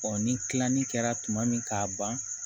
ni tilani kɛra tuma min k'a ban